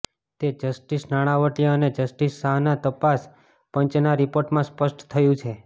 તે જસ્ટિસ નાણાવટી અને જસ્ટિસ શાહના તપાસ પંચના રિપોર્ટમાં સ્પષ્ટ થયુ છે